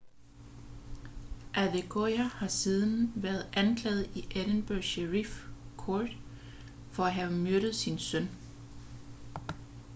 adekoya har siden været anklaget i edinburgh sheriff court for at have myrdet sin søn